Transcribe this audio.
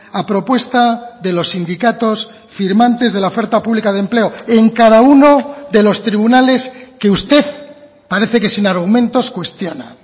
a propuesta de los sindicatos firmantes de la oferta pública de empleo en cada uno de los tribunales que usted parece que sin argumentos cuestiona